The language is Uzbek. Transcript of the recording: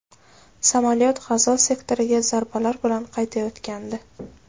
Samolyot G‘azo sektoriga zarbalar berib qaytayotgandi.